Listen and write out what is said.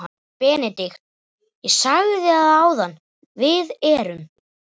BENEDIKT: Ég sagði það áðan: Við erum.